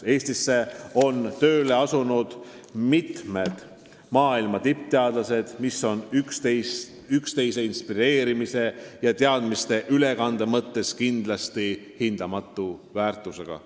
Eestisse on tööle asunud mitmed maailma tippteadlased, mis on üksteise inspireerimise ja teadmiste ülekande mõttes kindlasti hindamatu väärtusega.